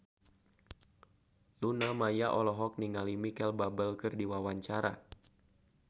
Luna Maya olohok ningali Micheal Bubble keur diwawancara